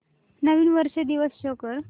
नवीन वर्ष दिवस शो कर